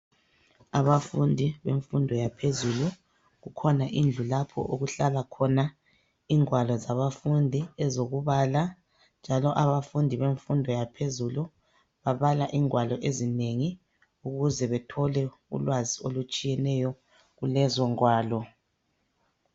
Abafundi bemfundo yaphezulu kukhona indlu lapho okuhlala ingwalo zabafundi ezokubala njalo abafundi bemfundo yaphezulu babala ingwalo ezinengi ukuze bethole ulwazi olutshiyeneyo kulezi ngwalo.